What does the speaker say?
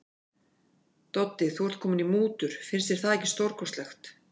Doddi, þú ert kominn í mútur, finnst þér það ekki stórkostlegt.